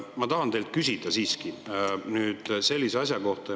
Ma tahan teilt nüüd küsida sellise asja kohta.